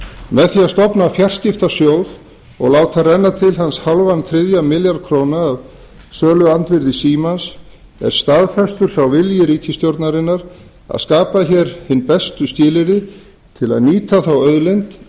með því að stofna fjarskiptasjóð og láta renna til hans hálfan þriðja milljarð króna af söluandvirði símans er staðfestur sá vilji ríkisstjórnarinnar að skapa hér hin bestu skilyrði til að nýta þá auðlind sem